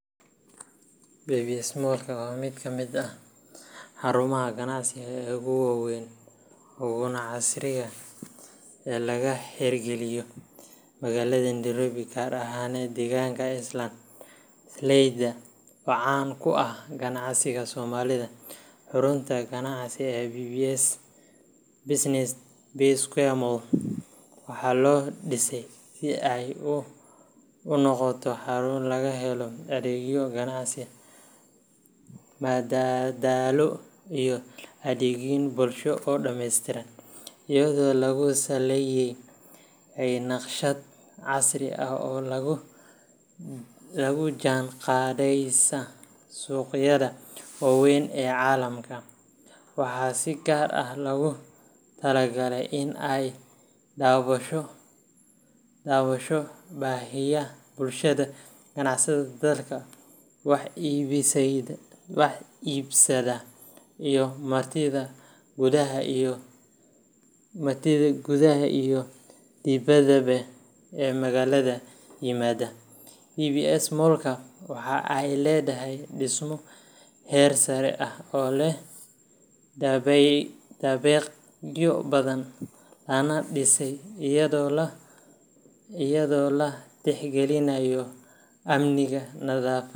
BBS Mallka waa mid ka mid ah xarumaha ganacsi ee ugu waaweyn uguna casrisan ee laga hirgeliyey magaalada Nairobi, gaar ahaan deegaanka Eastleighda oo caan ku ah ganacsiga Soomaalida. Xaruntan ganacsi ee BBS Business Bay Square Mall waxaa loo dhisay si ay u noqoto xarun laga helo adeegyo ganacsi, madadaalo, iyo adeegyo bulsho oo dhameystiran, iyadoo lagu saleeyay naqshad casri ah oo la jaanqaadaysa suuqyada waaweyn ee caalamka. Waxaa si gaar ah loogu talagalay in ay daboosho baahiyaha bulshada ganacsatada, dadka wax iibsada, iyo martida gudaha iyo dibaddaba ee magaalada yimaada. BBS Mallka waxa ay leedahay dhismo heer sare ah oo leh dabaqyo badan, lana dhisay iyadoo la tixgelinayo amniga, nadaafadda.